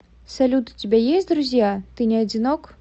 салют у тебя есть друзья ты не одинок